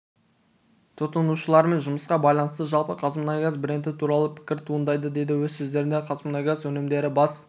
тұтынушылармен жұмысқа байланысты жалпы қазмұнайгаз бренді туралы пікір туындайды деді өз сөзінде қазмұнайгаз өнімдері бас